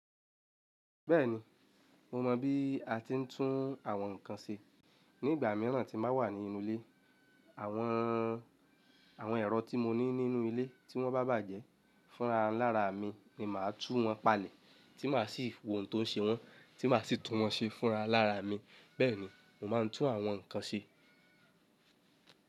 Bẹ́ẹ̀ni, mo mọ bí a ti ń tún àwọn nǹkan ṣe. Ni ìgbà mìíràn tí n ba wà ní inú ilé, àwọn, àwọn ẹ̀rọ tí mo ní nínú ilé tí wọ́n bá bàjẹ́ fúnra lára mi ni màá tú wọn palẹ̀, tí màá sì wo ohun tó ń ṣe wọ́n, tí màá sì tún wọn ṣe fúnra lára mi. Bẹ́ẹ̀ ni, mo máa ń tún àwọn nǹkan ṣe.